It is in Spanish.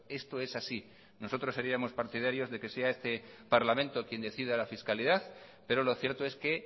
esto es así nosotros seríamos partidarios de que sea este parlamento quien decida la fiscalidad pero lo cierto es que